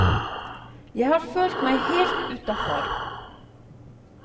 Jeg har følt meg helt utafor.